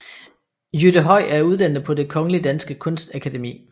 Jytte Høy er uddannet på Det Kongelige Danske Kunstakademi